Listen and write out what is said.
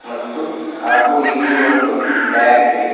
ಮತ್ತು ಹಾಗು ಇಲ್ಲಿ ಒಂದು ಬ್ಯಾಗ್ ಇದೆ.